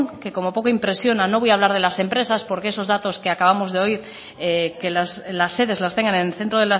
que como poco impresiona no voy a hablar de las empresas porque esos datos que acabamos de oír que las sedes las tengan en centro